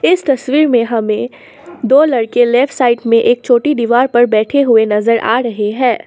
इस तस्वीर में हमें दो लड़के लेफ्ट साइड में एक छोटी दीवार पर बैठे हुए नजर आ रहे हैं।